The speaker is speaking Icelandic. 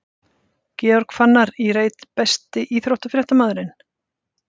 Georg Fannar í reit Besti íþróttafréttamaðurinn?